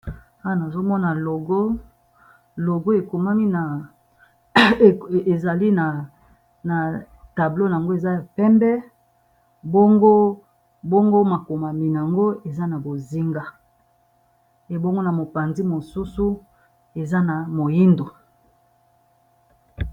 Awa nazomona logo, logo ezali na langi ya pembe, bongo makomami yango eza na langi ya bozinga, ebongo na mopanzi mosusu eza na moindo.